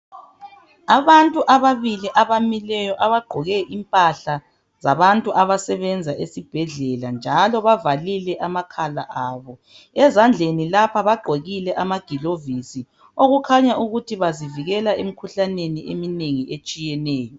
Abantu ababili abamileyo abagqoke impahla zabantu abasebenza ezibhedlela njalo bavalile amakhala abo. Ezandleni lapha bagqokile amagilovisi okukhanya ukuthi bazivikela emikhuhlaneni eminengi etshiyeneyo.